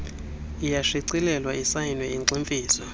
iyashicilelwa isayinwe igximfizwe